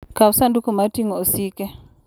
Kaw sanduku mar ting'o osike.